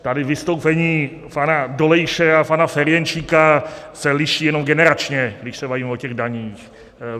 Tady vystoupení pana Dolejše a pana Ferjenčíka se liší jenom generačně, když se bavíme o těch daních.